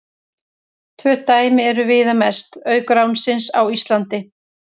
Tvö dæmi eru viðamest, auk ránsins á Íslandi.